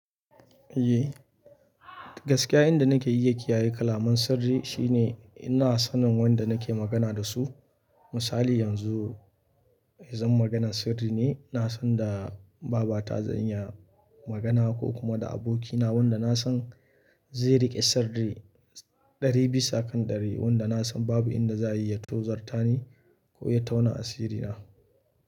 Eh, gaskiya inda nake iya kiyaye kalamun sirri, shine ina sanin wanda nake magana da su. Misali yanzu, idan maganan sirri ne, na san da baba ta zan iya magana, ko kuma da abokina wanda na san zai riƙe sirri ɗari bisa kan ɗari, wanda na san babu inda za a iya tozarta ni ko ya tauna asiri na.